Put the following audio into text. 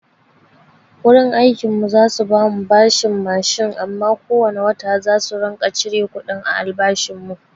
Wurin aikin mu za su bamu bashin mashin amma ko wane wata zasu ringa cire kuɗin a albashin mu.